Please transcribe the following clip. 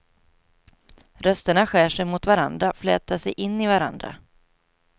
Rösterna skär sig mot varandra, flätar sig in i varandra.